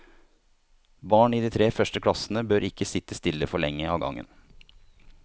Barn i de tre første klassene bør ikke sitte stille for lenge av gangen.